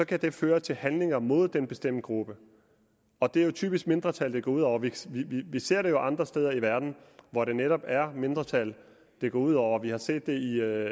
kan det føre til handlinger mod denne bestemte gruppe og det er jo typisk mindretal det går ud over vi ser det jo andre steder i verden hvor det netop er mindretal det går ud over vi har set det i